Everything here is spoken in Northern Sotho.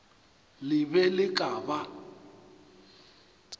le be le ka ba